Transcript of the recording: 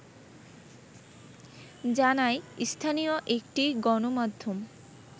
জানায় স্থানীয় একটি গণমাধ্যম